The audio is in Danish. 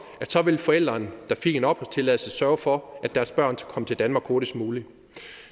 så ville forældrene der fik en opholdstilladelse sørge for at deres børn kom til danmark hurtigst muligt